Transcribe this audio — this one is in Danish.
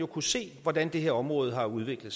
kunne se hvordan det her område har udviklet